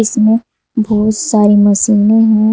इसमें बहुत सारी मशीनें हैं।